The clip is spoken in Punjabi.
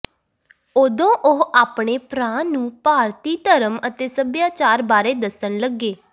ਉਦੋਂ ਉਹ ਆਪਣੇ ਭਰਾ ਨੂੰ ਭਾਰਤੀ ਧਰਮ ਅਤੇ ਸਭਿਆਚਾਰ ਬਾਰੇ ਦੱਸਣ ਲੱਗੇ